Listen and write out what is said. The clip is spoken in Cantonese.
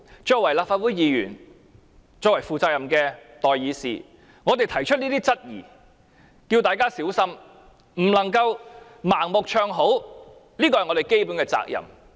作為立法會議員，作為負責任的代議士，我們提出這些質疑，呼籲大家小心，不能盲目唱好，這是我們的基本責任。